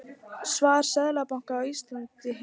Svar Seðlabanka Íslands í heild